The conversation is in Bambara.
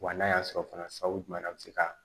Wa n'a y'a sɔrɔ fana u man na a bɛ se ka